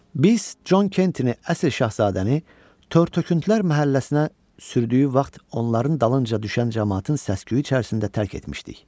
Biz Con Kentini əsir şahzadəni tor töküntülər məhəlləsinə sürdüyü vaxt onların dalınca düşən camaatın səs-küyü içərisində tərk etmişdik.